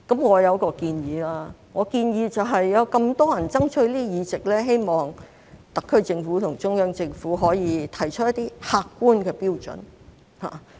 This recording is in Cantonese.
我有一個建議，我建議有這麼多人爭取議席，希望特區政府和中央政府可以提出一些客觀標準。